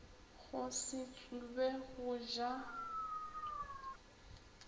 go se tsube go ja